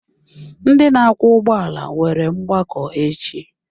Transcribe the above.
Ndị na-akwọ ụgbọala nwere mgbakọ echi.